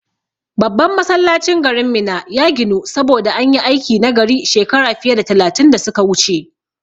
Babban Masallacin garin Minna ya ginu, saboda an yi aiki nagari shekara fiye da talatin da su ka wuce.